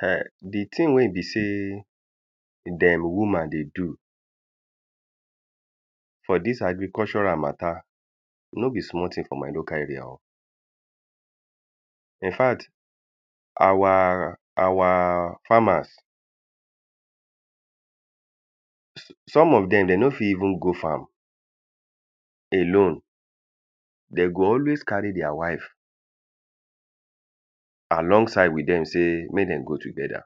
[um]the thing wey e be say dem woman they do for dis agricultural matter no be small thing for my local area o. Infact our our farmers some of dem, den no fit even go farm alone. De go always carry their wife along side with dem sey, make dem go together.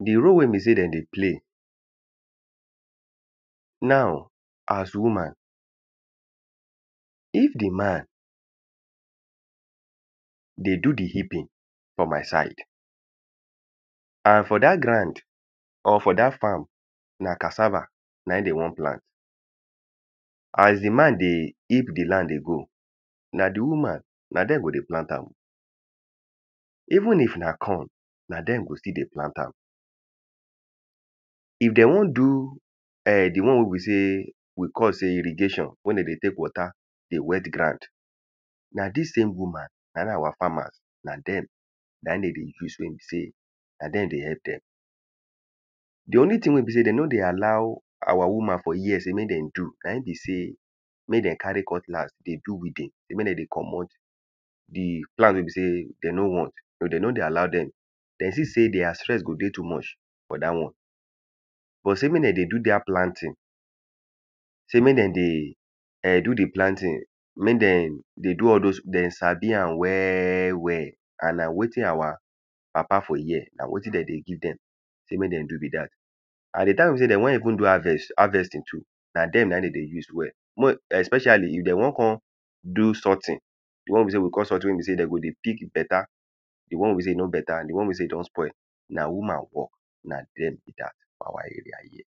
The role wey be sey dem dey play now as woman. If the man dey do the heaping for my side and for dat ground or for dat farm na cassava na im dem wan plant. As the man dey heap the land dey go na the woman, na dem go dey plant am. Even if na corn, na dem go still dey plant am. If de wan do um the one wey we sey we call sey irrigation, wey dem dey take water they wet ground. Na dis same woman, na im our farmer, na dem na im dem dey use wey be sey na dem dey help dem. The only thing wey e be sey de no dey allow our woman for here sey make dem do na im be sey. Mey dem carry cutlass dey do weeding. Mey dem dey comot the plant wey be sey dem no want. No they no dey allow dem. De see sey their strenth go dey too much for dat one. But sey make dem dey do dat planting sey make dem dey um do the planting, mey de they do all dos, they sabi am well well and na wetin our papa for here, na wetin dem dey give dem sey mey dem do be dat. And the time wey be sey de wan even do harvest, harvesting too. Na dem na im de dey juse well. More especially if dem wan con o something. The wan we be sey we call something wey be sey dem go dey pick better the wey be sey e no better and the one wey be sey e don spoil. Na woman work. Na dem be dat for our area here.